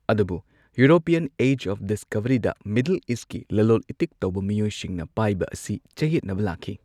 ꯑꯗꯨꯕꯨ European age of ꯗꯤꯁꯀꯣꯚꯔꯤꯗ ꯃꯤꯗꯜ ꯏꯁꯠꯀꯤ ꯂꯂꯣꯜ ꯏꯇꯤꯛ ꯇꯧꯕ ꯃꯤꯑꯣꯏꯁꯤꯡꯅ ꯄꯥꯏꯕ ꯑꯁꯤ ꯆꯌꯦꯠꯅꯕ ꯂꯥꯛꯈꯤ꯫